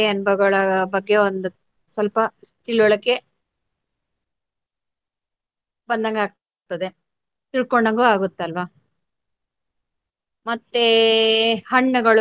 ಅನುಭವಗಳ ಬಗ್ಗೆ ಒಂದು ಸ್ವಲ್ಪ ತಿಳುವಳಿಕೆ ಬಂದಂಗಾಗ್ತದೆ ತಿಳ್ಕೊಂಡ್ಹಂಗು ಆಗುತ್ತಲ್ವ. ಮತ್ತೆ ಹಣ್ಣುಗಳು